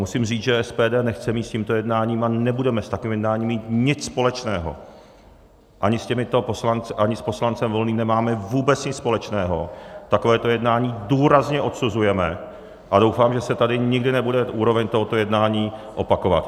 Musím říct, že SPD nechce mít s tímto jednáním a nebudeme s takovým jednáním mít nic společného, ani s těmito poslanci, ani s poslancem Volným nemáme vůbec nic společného, takovéto jednání důrazně odsuzujeme a doufám, že se tady nikdy nebude úroveň tohoto jednání opakovat.